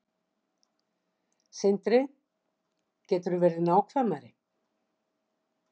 Sindri: Geturðu verið nákvæmari?